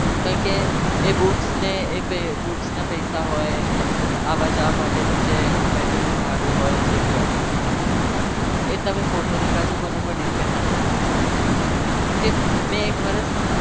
કારણ કે એ books ને એકેય books ના પૈસા હોય, આવવા જવા માટે જે mentally ભાડું હોય જે भी હોય એ તમે પોતે નીકળજો કોઈ ના પર depend ના થતા. કેમ કે મેં એક વર્ષ